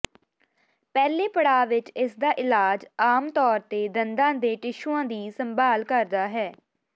ਪਹਿਲੇ ਪੜਾਅ ਵਿੱਚ ਇਸਦਾ ਇਲਾਜ ਆਮ ਤੌਰ ਤੇ ਦੰਦਾਂ ਦੇ ਟਿਸ਼ੂਆਂ ਦੀ ਸੰਭਾਲ ਕਰਦਾ ਹੈ